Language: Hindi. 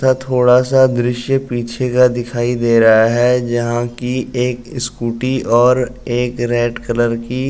तथा थोड़ा सा दृश्य पीछे का दिखाई दे रहा है। जहाँ की एक स्कूटी और एक रेड कलर की --